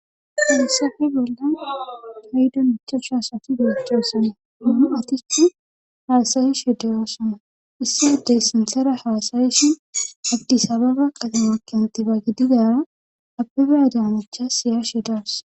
falisafe bolla haydu michushasati geechchosona on aticu haasayisheddeyosana issi ddey sinsera haasayishi addi sababa qadamekentiba gididaa abbiba damacha siyashe daws